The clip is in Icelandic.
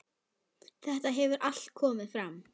Þetta hefur allt komið fram.